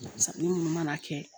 Sanni munnu mana kɛ